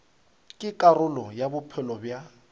ke karolo ya bophelo bja